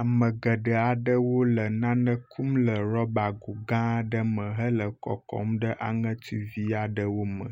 Ame geɖe aɖewo le nane kum le rɔba go gã aɖe me hele kɔkɔm ɖe aŋetuivi aɖe me.